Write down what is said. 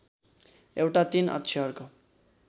एउटा ३ अक्षरको